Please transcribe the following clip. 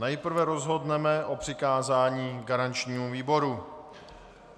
Nejprve rozhodneme o přikázání garančnímu výboru.